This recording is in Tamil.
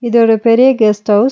இது ஒரு பெரிய கெஸ்ட் ஹவுஸ் .